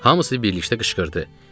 Hamısı birlikdə qışqırdı: